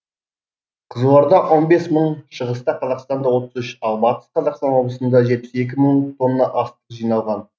қызылорда он бес мың шығыста қазақстанда отыз үш ал бастыс қазақстан облысында жетпіс екі мың тонна астық жиналған